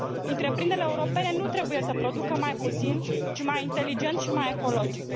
Întreprinderile europene nu trebuie să producă mai puțin, ci mai inteligent și mai ecologic.